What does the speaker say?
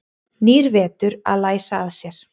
Nýr vetur að læsa að sér.